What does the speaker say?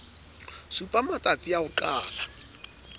supa matstasi a ho qala